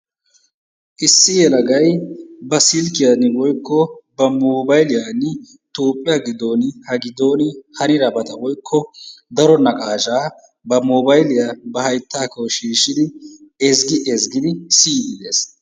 Issi yelagay ba silkkiyan woykko ba moobayiliyan Toophphiya giddooni ha giddooni hanidabata woykko daro naqaashaa ba moobayliya ba hayttaakko shiishshidi ezggi ezggidi siyiiddi dees.